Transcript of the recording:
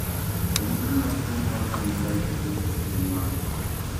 Ranyisi mag tuwo mar lamellar ichthyosis gin mage?